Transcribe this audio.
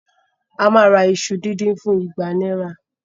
A máa ra iṣu díndín fún igba náírà